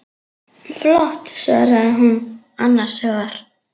Flott, svarar hún annars hugar.